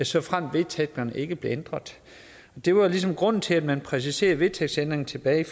såfremt vedtægterne ikke bliver ændret det var ligesom grunden til at man præciserede vedtægtsændringen tilbage i